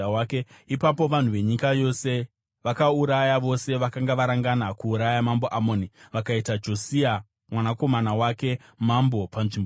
Ipapo vanhu venyika yose vakauraya vose vakanga varangana kuuraya mambo Amoni. Vakaita Josia mwanakomana wake mambo panzvimbo yake.